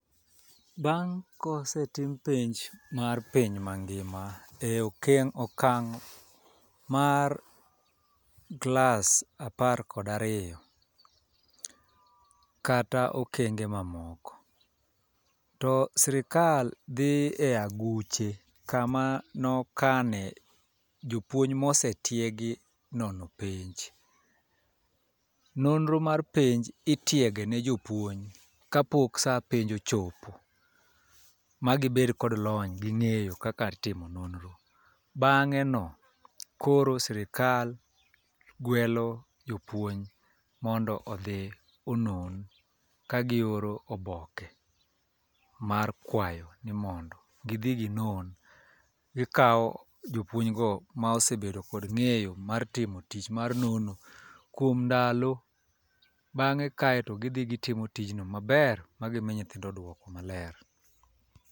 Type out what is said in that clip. Bang' kosetim penj mar piny mangima e keng' e okang' mar klas apar kod ariyo, kata okenge mamoko, to sirikal dhi e aguche kama nokane jopuonj mosetiegi nono penj. Nonro mar penj itiego ne jopuonj kapok saa penj ochopo ma gibed kod lony gi ng'eyo kaka itimo nonro. Bang'e no koro sirkal gwelo jopuonj mondo odhi onon ka gioro oboke mar kwayo ni mondo gidhi ginon. Gikawo jopuonj no mosebedo kod neg'yo mar timo tich mar nono kuom ndalo bang'e kae to gidhi gitimo tijno maber ma gimi nyithindo duoko maler .